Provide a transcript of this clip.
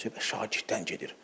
Söhbət şagirddən gedir.